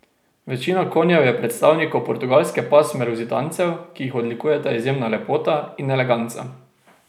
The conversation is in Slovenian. Večina konjev je predstavnikov portugalske pasme luzitancev, ki jih odlikujeta izjemna lepota in eleganca.